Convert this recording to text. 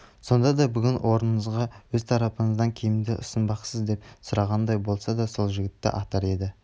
сонда да бүгін орныңызға өз тарапыңыздан кімді ұсынбақсыз деп сұрағандай болса сол жігіттерді атар еді